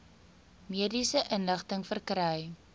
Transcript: mediese inligting verkry